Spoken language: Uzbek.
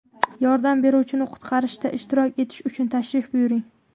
Yordam beruvchini qutqarishda ishtirok etish uchun tashrif buyuring!